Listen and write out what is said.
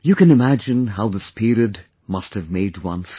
You can imagine how this period must have made one feel